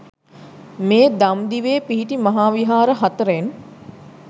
මේ දම්දිවේ පිහිටි මහා විහාර හතරෙන්